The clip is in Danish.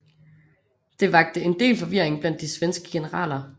Det vakte en del forvirring blandt de svenske generaler